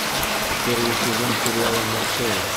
первый сезон сериала марчелла